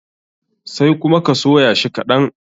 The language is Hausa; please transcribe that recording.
Sai kuma ka soya shi kaɗan.